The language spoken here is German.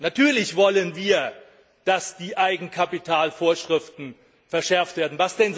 Natürlich wollen wir, dass die Eigenkapitalvorschriften verschärft werden.